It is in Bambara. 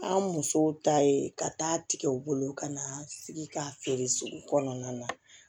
An musow ta ye ka taa tigɛ u bolo ka na sigi k'a feere sugu kɔnɔna na